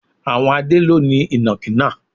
Àwọn Adé ló ni Ìnàkí náà.